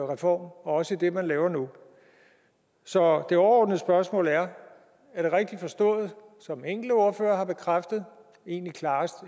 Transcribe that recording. reform også i det man laver nu så det overordnede spørgsmål er er det rigtigt forstået som enkelte ordførere har bekræftet egentlig